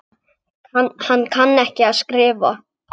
Hann kann ekki að skrifa.